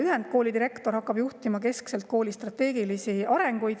Ühendkooli direktor hakkab juhtima keskselt kooli strateegilist arengut.